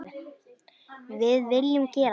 Við viljum gera það.